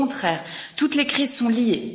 Au contraire, toutes les crises sont liées.